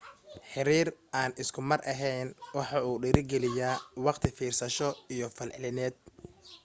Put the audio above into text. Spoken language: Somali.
xiriir aan isku mar ahayn waxa uu dhiiri geliyaa waqti fiirsasho iyo falcelineed